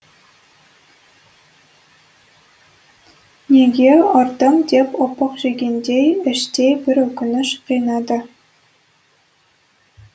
неге ұрдым деп опық жегендей іштей бір өкініш қинады